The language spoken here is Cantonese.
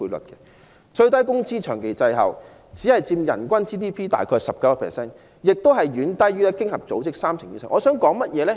本港的最低工資也長期滯後，只佔人均 GDP 大約 19%， 亦遠低於經合組織的數字，即三成以上。